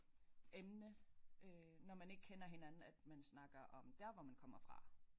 Emne øh når man ikke kender hinanden at man snakker om der hvor man kommer fra